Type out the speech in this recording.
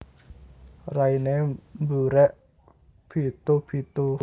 Rainé burék bithu bithu